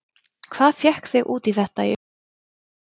Hvað fékk þig út í þetta í upphafi?